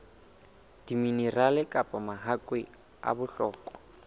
diminerale kapa mahakwe a bohlokwa